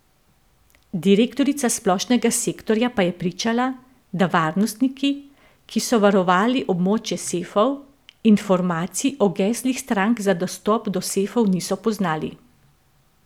Direktorica splošnega sektorja pa je pričala, da varnostniki, ki so varovali območje sefov, informacij o geslih strank za dostop do sefov niso poznali.